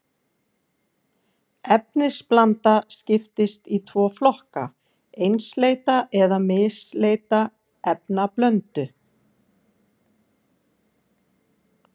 Efnablanda skiptist í tvo flokka, einsleita eða misleita efnablöndu.